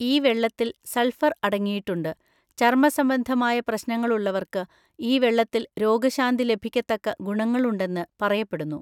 ഈ വെള്ളത്തിൽ സൾഫർ അടങ്ങിയിട്ടുണ്ട്, ചർമ്മസംബന്ധമായ പ്രശ്നങ്ങളുള്ളവർക്ക് ഈ വെള്ളത്തിൽ രോഗശാന്തി ലഭിക്കത്തക്ക ഗുണങ്ങളുണ്ടെന്ന് പറയപ്പെടുന്നു.